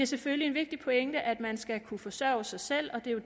selvfølgelig en vigtig pointe at man skal kunne forsørge sig selv og det er jo